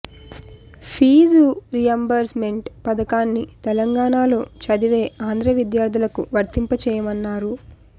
fee reimbursement పథకాన్ని తెలంగాణలో చదివే ఆంధ్రా విద్యార్థులకు వర్తింప చేయమన్నారు